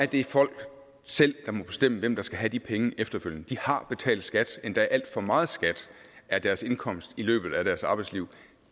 det folk selv der må bestemme hvem der skal have de penge efterfølgende de har betalt skat endda alt for meget skat af deres indkomst i løbet af deres arbejdsliv